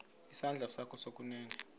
isandla sakho sokunene